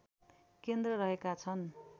केन्द्र रहेका छन्